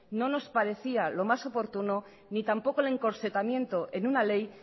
no nos parecía lo más oportuno ni tampoco el encorsetamiento en una ley